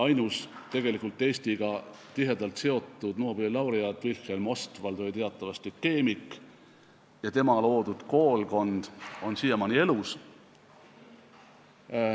Ainus tegelikult Eestiga tihedalt seotud Nobeli laureaat Wilhelm Ostwald oli teatavasti keemik ja tema loodud koolkond on siiamaani elus.